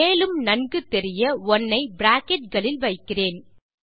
மேலும் நன்கு தெரிய 1 ஐ பிராக்கெட் களில் வைக்கிறேன்